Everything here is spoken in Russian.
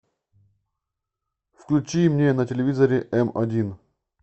включи мне на телевизоре эм один